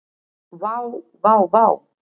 Vá, vá vá.